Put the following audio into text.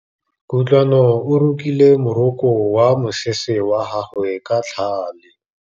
Kutlwanô o rokile morokô wa mosese wa gagwe ka tlhale.